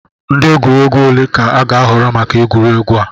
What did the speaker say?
Ndị egwuregwu ole ka a ga-ahọrọ maka egwuregwu a?